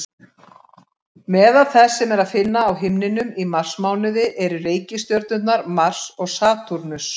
Meðal þess sem er að finna á himninum í marsmánuði eru reikistjörnurnar Mars og Satúrnus.